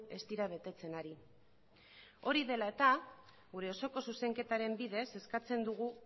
ez dira betetzen ari hori dela eta gure osoko zuzenketaren bidez eskatzen dugu